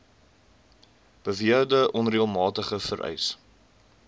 beweerde onreëlmatigheid vereis